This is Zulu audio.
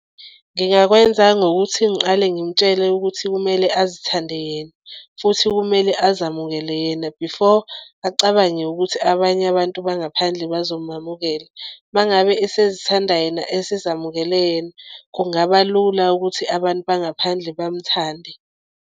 Ngingakwenza ngokuthi ngiqale ngimtshele ukuthi kumele azithande yena futhi kumele azamukele yena before acabange ukuthi abanye abantu bangaphandle bazomamukela. Uma ngabe esezithandani yena esezamukele yena kungaba lula ukuthi abantu bangaphandle bamuthande.